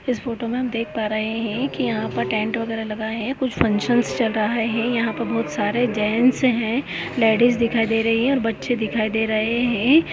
इस फोटो मे देख पा रहे है की यहाँ पर टेन्ट वगेरा लगा है कुछ फंक्शन चल रहा है यहाँ पर बहुत सारे जेन्ट्स है लेडीज दिखाई दे रही है और बच्चे दिखाई दे रही है।